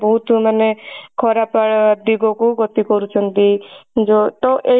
ବହୁତ ମାନେ ଖରାପ ଦିଗ କୁ ଗତି କରୁଛନ୍ତି ଯୋ ତ ଏଇଟା